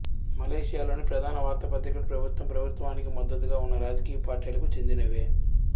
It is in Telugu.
మలేషియాలోని ప్రధాన వార్తాపత్రికలు ప్రభుత్వం ప్రభుత్వానికి మద్దతుగా ఉన్న రాజకీయ పార్టీలకు చెందినవే